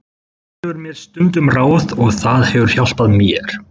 Hann gefur mér stundum ráð og það hefur hjálpað mér.